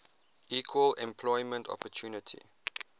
equal employment opportunity